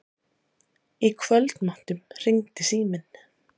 Í kvöldmatnum hringdi síminn.